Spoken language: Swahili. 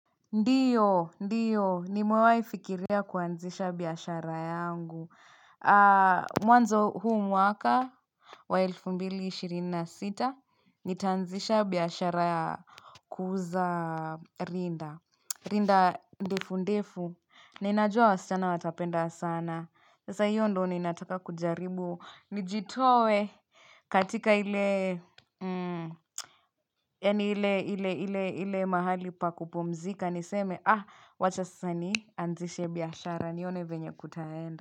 Ndiyo, ndiyo, ni mwewaifikiria kuanzisha biashara yangu Mwanzo huu mwaka wa ilfu mbili ishirina sita Nitanzisha biashara kuza rinda rinda ndefu ndefu, ninajua wasichana watapenda sana Sasa hiyo ndo ni nataka kujaribu, nijitowe katika ile Yani hile hile hile hile mahali pa kupumzika niseme wachasani anzishe biyashara nione venye kutaenda.